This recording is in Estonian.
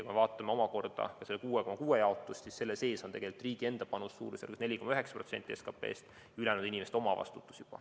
Kui me vaatame omakorda seda 6,6% jaotust, siis selle sees on tegelikult riigi enda panus suurusjärgus 4,9% SKP‑st, ülejäänu on juba inimeste omavastutus.